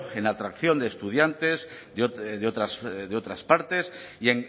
en atracción de estudiantes de otras partes y